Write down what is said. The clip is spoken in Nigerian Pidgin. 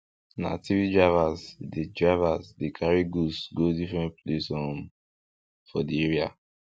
na three drivers dey drivers dey carry goods go different places um for the area